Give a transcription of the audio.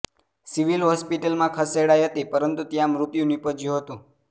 civil હોસ્પિટલમાં ખસેડાઈ હતી પરંતુ ત્યાં મૃત્યુ નિપજ્યું હતું